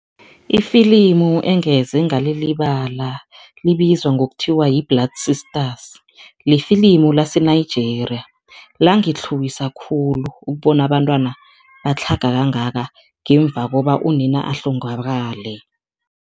Ifilimu engeze ngalilibala libizwa ngokuthiwa yi-Blood Sisters, lifilimu lase-Nigeria. Langitlhuwisa khulu ukubona abantwana batlhaga kangaka ngemva koba unina ahlongakale.